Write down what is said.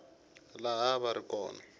laha a va ri kona